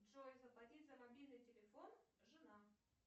джой заплатить за мобильный телефон жена